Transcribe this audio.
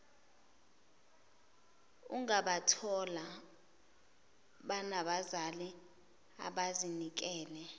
ungabathola benabazali abazinikele